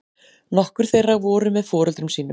Nokkur þeirra voru með foreldrum sínum